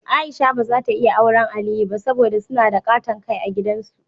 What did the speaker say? Aisha ba zata iya awren Aliyu ba, saboda suna da ƙaton Kai a gidan su.